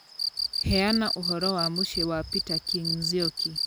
Heana ũhoro wa mũciĩ wa peter king nzioki